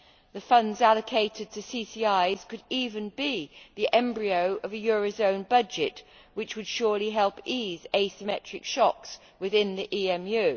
The funds allocated to CCIs could even be the embryo of a euro area budget which would surely help ease asymmetric shocks within the EMU.